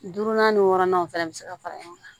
Duurunan ni wɔɔrɔnanw fana bɛ se ka fara ɲɔgɔn kan